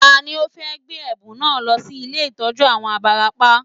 Tani ó fẹ́ gbé ẹ̀bùn náà lọ sí ilé ìtọ́jú àwọn abarapá